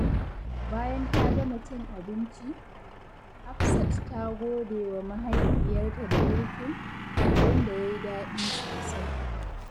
Bayan ta gama cin abinci, Hafsat ta gode wa mahaifiyarta da girkin, wanda ya yi daɗi sosai.